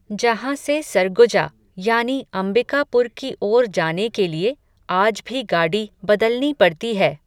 जहां से सरगुजा, यानी अंबिकापुर की ओर जाने के लिए, आज भी गाडी बदलनी पड़ती है